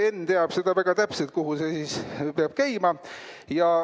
Henn teab seda väga täpselt, kuhu see peab käima.